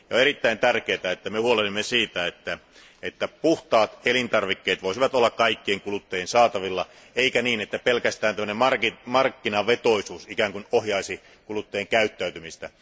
On erittäin tärkeää, että me huolehdimme siitä, että puhtaat elintarvikkeet voisivat olla kaikkien kuluttajien saatavilla eikä niin, että pelkästään tällainen markkinavetoisuus ikään kuin ohjaisi kuluttajien käyttäytymistä.